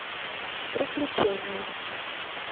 приключения